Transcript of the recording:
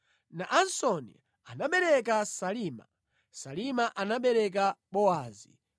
Naasoni anabereka Salima, Salima anabereka Bowazi,